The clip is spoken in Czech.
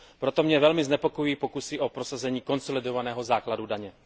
Proto mě velmi znepokojují pokusy o prosazení konsolidovaného základu daně.